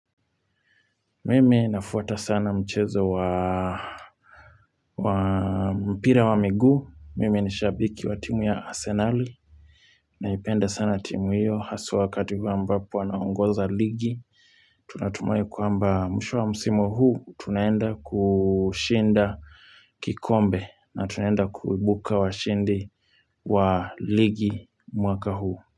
Mimi nafuata sana mchezo wa wa mpira wa miguu, mimi ni shabiki wa timu ya Asenali naipenda sana timu hiyo, haswa wakati huo ambapo anaongoza ligi, tunatumai kwamba mwisho wa msimu huu, tunaenda ku shinda, kikombe. Na tunaenda kuibuka washindi wa ligi mwaka huu.